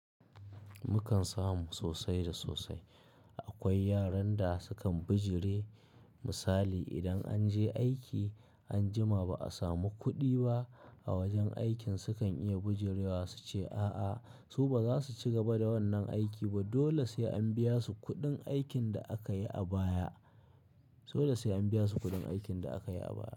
Mukan samu sosai da sosai. Akwai yaran da sukan bijire. Misali idan an je aiki an jima ba a samu kuɗi ba a wajen aikin sukan iya bijirewa su ce a'a su ba za su ci gaba da wannan aiki ba, dole sai an biya su kuɗin aikin da aka yi a baya. Dole sai an biya su kuɗin aikin da aka yi a baya.